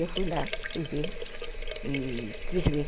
Eu fui lá, fui ver e quis ver.